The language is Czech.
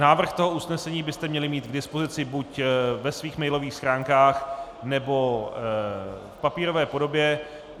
Návrh toho usnesení byste měli mít k dispozici buď ve svých mailových stránkách, nebo v papírové podobě.